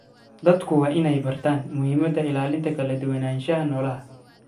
Dadku waa inay bartaan muhiimadda ilaalinta kala duwanaanshaha noolaha.